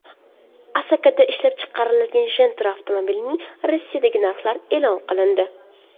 Asakada ishlab chiqariladigan Gentra avtomobilining Rossiyadagi narxlari e’lon qilindi.